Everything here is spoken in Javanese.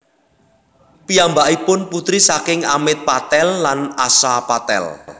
Piyambakipun putri saking Amit Patel lan Asha Patel